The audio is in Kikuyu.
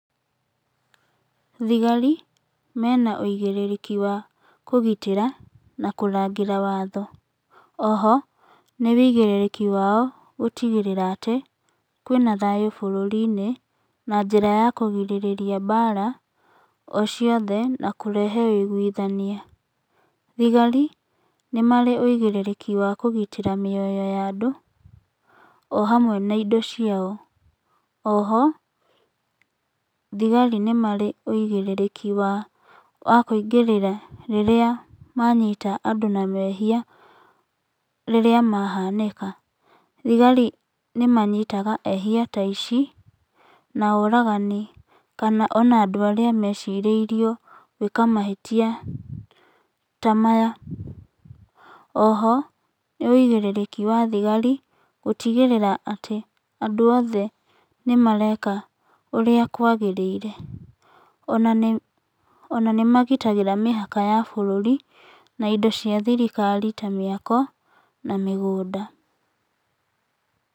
Thigari mena wĩigĩrĩrĩki wa kũgitĩra na kũrangĩra watho. Oho nĩwĩigĩrĩrĩki wao gũtigĩrĩra atĩ kwĩna thayũ bũrũri -inĩ na njĩra ya kũgirĩrĩria mbara ociothe na kũrehe ũiguithania. Thigari nĩ marĩ wĩigĩrĩrĩki wa kũgitĩra mĩoyo ya andũ ohamwe na indo ciao. Oho thigari nĩmarĩ wĩigĩrĩrĩku wa kũingĩrĩra rĩrĩa manyita andũ na mehia rĩrĩa mahaneka. Thigari nĩ manyitaga ehia ta acio na oragani kana ona andũ arĩa mecirĩirio kamahĩtia ta maya. Oho nĩwĩigĩrĩrĩki wa thigari gũtigĩrĩra atĩ andũ oothe nĩmareka ũrĩa kwagĩrĩire. Ona nĩ magitagĩra mĩhaka ya bũrũri na indo cia thirikari na mĩako na mĩgũnda.